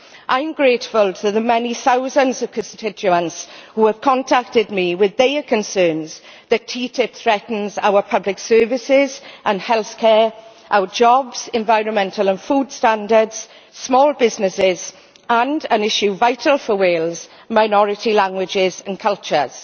I am grateful to the many thousands of constituents who have contacted me with their concerns that TTIP threatens our public services and health care, our jobs, environmental and food standards, small businesses and an issue which is vital for Wales minority languages and cultures.